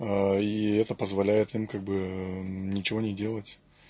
и это позволяет им как бы ничего не делать